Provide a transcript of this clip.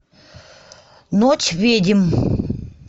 ночь ведьм